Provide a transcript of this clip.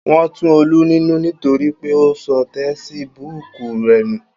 Wọn tu Olú nínú nítorí pé ó sọ tesibúùkù rẹ̀ nù